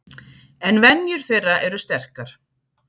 En venjur þeirra eru sterkar.